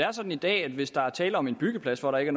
er sådan i dag at hvis der er tale om en byggeplads hvor der ikke